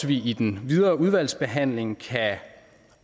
vi i den videre udvalgsbehandling